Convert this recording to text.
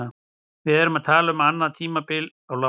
Við erum að tala um annað tímabil á láni.